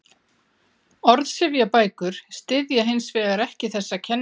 Orðsifjabækur styðja hins vegar ekki þessa kenningu.